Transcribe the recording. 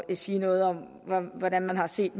sige noget om hvordan man har set